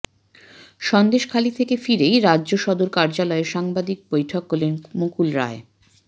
সন্দেশখালি থেকে ফিরেই রাজ্য সদর কার্যালয়ে সাংবাদিক বৈঠক করলেন মুকুল রায়